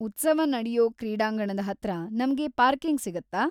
ಉತ್ಸವ ನಡ್ಯೋ ಕ್ರೀಡಾಂಗಣದ ಹತ್ರ ನಮ್ಗೆ ಪಾರ್ಕಿಂಗ್‌ ಸಿಗುತ್ತಾ?